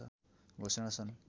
घोषणा सन्